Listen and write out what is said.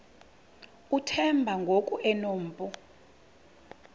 uthemba ngoku enompu